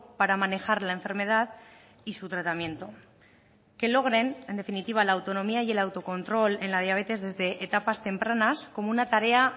para manejar la enfermedad y su tratamiento que logren en definitiva la autonomía y el autocontrol en la diabetes desde etapas tempranas como una tarea